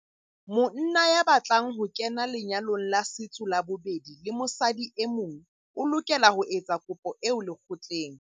Monna ya batlang ho kena lenyalong la setso la bobedi le mosadi e mong o lokela ho etsa kopo eo lekgotleng.